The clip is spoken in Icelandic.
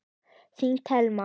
Þín Telma.